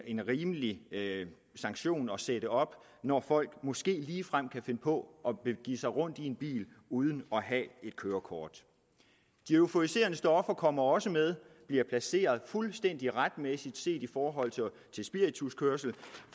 en rimelig sanktion at sætte op når folk måske ligefrem kan finde på at begive sig rundt i en bil uden at have et kørekort de euforiserende stoffer kommer også med og bliver placeret fuldstændig retmæssigt set i forhold til spirituskørsel